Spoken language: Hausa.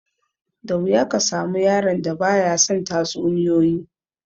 Da wuya ka samu yaron da ba ya son tatsuniyoyi